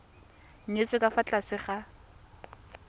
nyetswe ka fa tlase ga